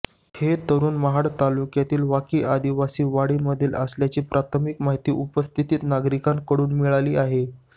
हे तरुण महाड तालुक्यातील वाकी आदिवासी वाडीमधील असल्याची प्राथमिक माहिती उपस्थित नागरिकांकडून मिळाली आहे